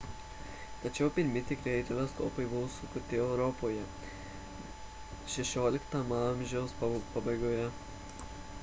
tačiau pirmi tikrieji teleskopai buvo sukurti europoje xvi a pabaigoje